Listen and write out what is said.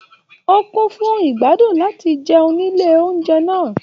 O kún fún igbadun láti jẹun nílé oúnjẹ náà.